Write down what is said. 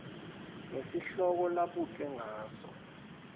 ngesihloko labutwe ngaso